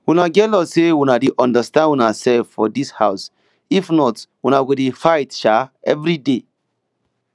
una get luck say una dey understand una self for for dis house if not una go dey fight um everyday